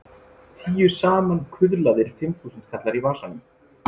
Tíu samankuðlaðir fimmþúsundkallar í vasanum!